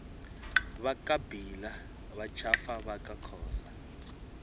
vakabhila vatshafa vakakhosa